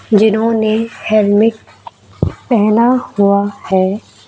जिन्होंने हेलमेट पहना हुआ है।